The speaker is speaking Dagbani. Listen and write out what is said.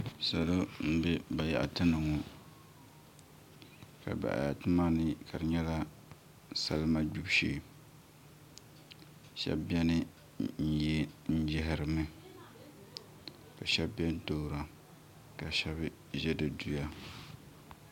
Salo n bɛ bayaɣati ni ŋo ka bayaɣati maa ni ka di nyɛla salima gbibu shee shab biɛni n yaharimi ka shab biɛni toora ka shab ʒɛ di duya